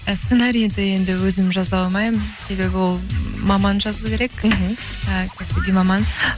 і сценарийді енді өзім жаза алмаймын себебі ол маман жазу керек мхм і кәсіби маман